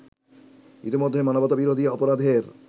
ইতিমধ্যে মানবতা-বিরোধী অপরাধের